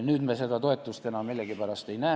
Nüüd me seda toetust millegipärast ei näe.